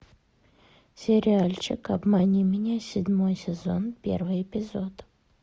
сериальчик обмани меня седьмой сезон первый эпизод